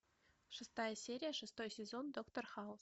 шестая серия шестой сезон доктор хаус